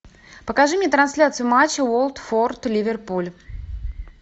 покажи мне трансляцию матча уотфорд ливерпуль